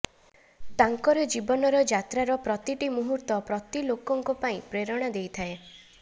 ତାଙ୍କର ଜୀବନର ଯାତ୍ରାର ପ୍ରତିଟି ମୁହୂର୍ତ୍ତ ପ୍ରତି ଲୋକଙ୍କ ପାଇଁ ପ୍ରେରଣା ଦେଇଥାଏ